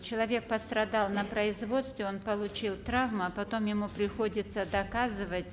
человек пострадал на производстве он получил травмы а потом ему приходится доказывать